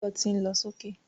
Báyọ̀ tí ń lọ sókè